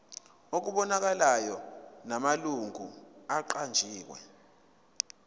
okubonakalayo namalungu aqanjiwe